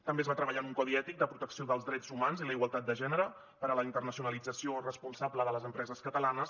també es va treballar en un codi ètic de protecció dels drets humans i la igualtat de gènere per a la internacionalització responsable de les empreses catalanes